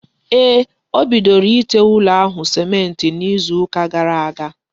Ee, o bidoro ite ụlọ ahụ sịmentị n'izu ụka gara aga.